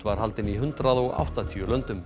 var haldin í hundrað og áttatíu löndum